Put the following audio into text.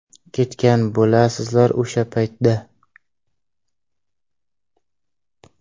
Ketgan bo‘lasizlar o‘sha paytda.